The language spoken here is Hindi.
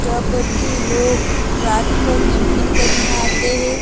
जहां पर की लोग रात को कैंपिंग करने आते हैं।